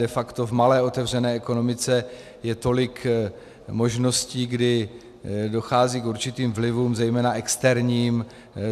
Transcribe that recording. De facto v malé otevřené ekonomice je tolik možností, kdy dochází k určitým vlivům zejména externím.